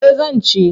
Eh zan ci.